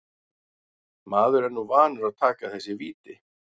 Maður er nú vanur að taka þessi víti.